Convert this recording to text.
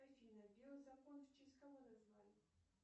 афина био закон в честь кого назвали